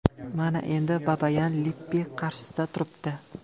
Mana endi Babayan Lippi qarshisida turibdi.